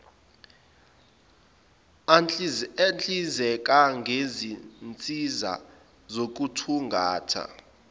ahlinzeka ngezinsiza zokuthungatha